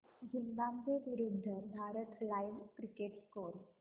Zimbabwe विरूद्ध Bharat live cricket score